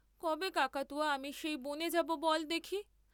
কবে কাকাতুয়া আমি সেই বনে যাব বল দেখি?